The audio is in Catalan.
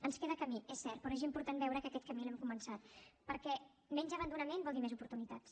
ens queda camí és cert però és important veure que aquest camí l’hem començat perquè menys abandonament vol dir més oportunitats